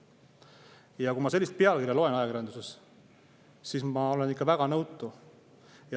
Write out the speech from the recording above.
Ja kui ma sellist pealkirja loen ajakirjanduses, siis ma olen ikka väga nõutu.